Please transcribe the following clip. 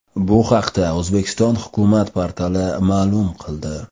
Bu haqda O‘zbekiston hukumat portali ma’lum qildi .